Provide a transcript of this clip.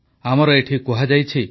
ଆମର ଏଠି କୁହାଯାଇଛି